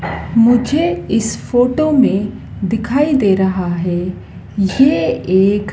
मुझे इस फोटो में दिखाई दे रहा है ये एक--